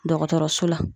Dɔgɔtɔrɔso la